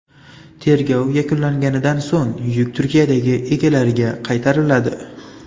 Tergov yakunlanganidan so‘ng yuk Turkiyadagi egalariga qaytariladi.